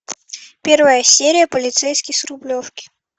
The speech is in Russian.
первая серия полицейский с рублевки